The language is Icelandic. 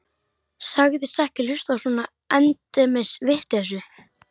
Sagðist ekki hlusta á svona endemis vitleysu.